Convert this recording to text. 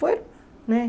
Foi, né?